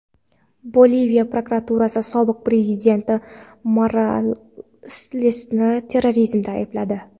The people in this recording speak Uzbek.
Boliviya prokuraturasi sobiq prezident Moralesni terrorizmda aybladi.